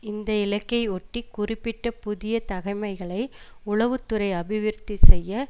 இந்த இலக்கையொட்டி குறிப்பிட்ட புதிய தகமைகளை உளவு துறை அபிவிருத்தி செய்ய